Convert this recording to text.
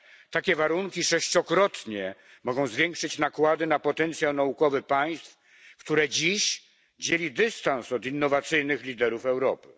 Takie warunki mogą sześciokrotnie zwiększyć nakłady na potencjał naukowy państw, które dziś dzieli dystans od innowacyjnych liderów Europy.